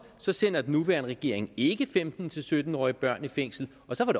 sender den nuværende regering ikke femten til sytten årige børn i fængsel og så var